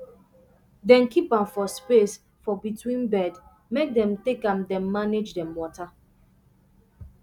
dem keep am for space for between bed make dem take am dem manage dem water